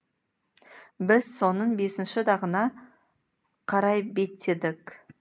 біз соның бесінші дағына қарай беттедік